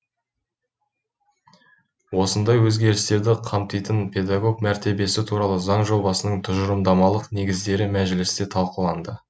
осындай өзгерістерді қамтитын педагог мәртебесі туралы заң жобасының тұжырымдамалық негіздері мәжілісте талқыланды